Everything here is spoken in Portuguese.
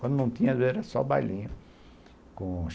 Quando não tinha era só bailinho com